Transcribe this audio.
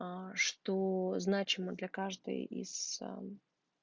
аа что значимо для каждой из ээ